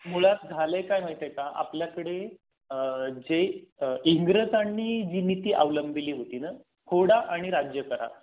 मुळात झालय काय माहितीय का? आपल्याकडे आह जे इंग्रजानी जी नीती अवलंबिली होती ना फोडा आणि राज्य करा.